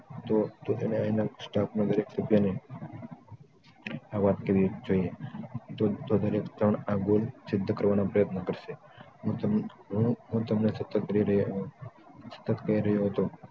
તો એને એના staff ના દરેક સભ્યને આ વાત કેવી જોઈએ તો દરેક જણ આ goal સિધ્ધ કરવાનો પ્રયત્ન કરશે હું તમને સ્પષ્ટ કહી રહ્યો હતો